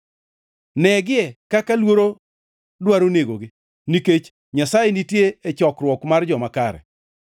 Negie kaka luoro dwaro negogi, nikech Nyasaye nitie e chokruok mar joma kare.